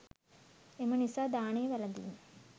එම නිසා දානය වැළඳීම